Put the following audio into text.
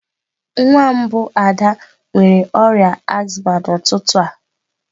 Nwa mbụ Ada nwere ọrịa azma n'ụtụtụ a.